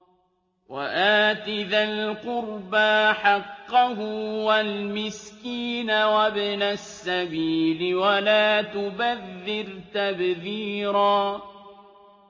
وَآتِ ذَا الْقُرْبَىٰ حَقَّهُ وَالْمِسْكِينَ وَابْنَ السَّبِيلِ وَلَا تُبَذِّرْ تَبْذِيرًا